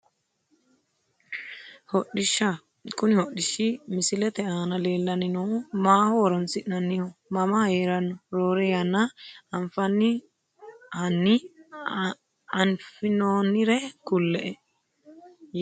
Hodhishsha kuni hodhishi mosilete aana leelani noohu maaho horonsinnaniho mama heerano roore yanna afinooni hani afinooniri kule`e yeemo`ne hanni xawise`e?